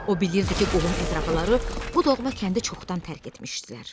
O bilirdi ki, qohum-əqrəbaları bu doğma kəndi çoxdan tərk etmişdilər.